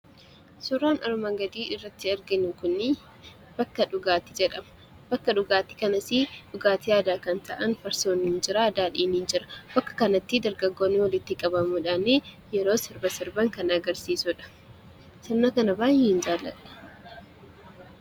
Suuraan armaan gadii irratti arginu kun bakka dhugaatii jedhama. Bakka dhugaatii kanas dhugaatii aadaa kan ta'an farsoon jira, daadhiin jira. Bakka kanatti dargaggoonni walitti qabamuudhaan yeroo sirba sirban kan agarsiisudha. Sirna kana baay'een jaalladha.